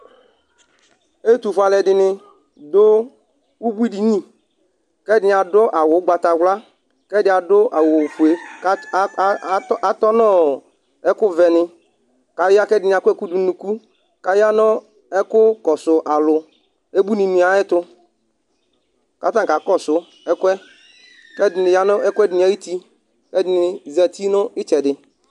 ɛtu fue alu ɛdini du ubʋi dini, kɛdini adu awu ugbata wla, kɛdi adu awu fue, kat aaatɔnɔɔɔɔ ɛku vɛ ni , kɛdini akɔ ɛku du nu unuku, kaya nu ɛku kɔsu alu, ebʋini ni ayɛtu katani kakɔsu ɛkuɛ kɛdini yanu nu ɛkuɛdi ni ayuti, kɛdini zati nu itsɛdi